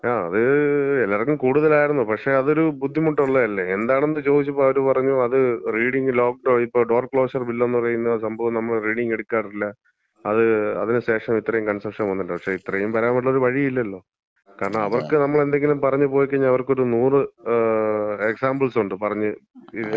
ങാ, അത് എല്ലാർക്കും കൂടുതലായിരുന്നു. പക്ഷേ അതൊരു ബുദ്ധിമുട്ടുള്ളല്ലെ. എന്താണെന്ന് ചോദിച്ചപ്പം അവര് പറഞ്ഞ് അത് റീഡിങ് ലോക്ഡൗണില്, ഇപ്പം ഡോർ ക്ലോഷർ ബില്ലെന്ന സംഭവം നമ്മള് റീഡിങ് എടുക്കാറില്ല. അത് അതിന് ശേഷാണ് ഇത്രേം കൺസെപ്ഷൻ വന്നത്. പക്ഷേ ഇത്രേം വരാൻ വേണ്ടിയൊരു വഴിയുമില്ലല്ലോ. കാരണം അവർക്ക് നമ്മളെന്തെങ്കിലും പറഞ്ഞ് പോയിക്കഴിഞ്ഞാ അവർക്കൊരു നൂറ് എക്സാംമ്പിൾസ് ഉണ്ട്. പറഞ്ഞ്, ചുറ്റിക്കാനായിട്ട്